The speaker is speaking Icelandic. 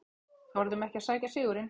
Þorðum ekki að sækja sigurinn